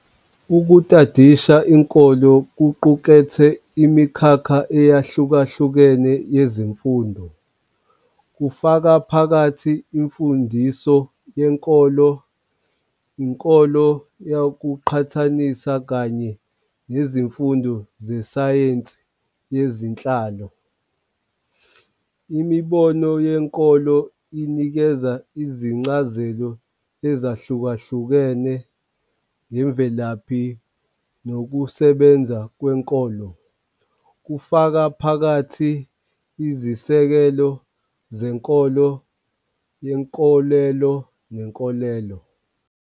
Ukutadisha inkolo kuqukethe imikhakha eyahlukahlukene yezemfundo, kufaka phakathi imfundiso yenkolo, inkolo yokuqhathanisa kanye nezifundo zesayensi yezenhlalo. Imibono yenkolo inikeza izincazelo ezahlukahlukene ngemvelaphi nokusebenza kwenkolo, kufaka phakathi izisekelo zenkolo yenkolelo nenkolelo.